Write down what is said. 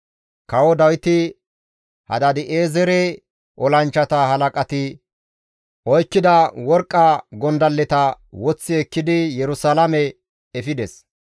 Kawo Dawiti Hadaadi7eezere olanchchata halaqati oykkida worqqa gondalleta woththi ekkidi Yerusalaame efides.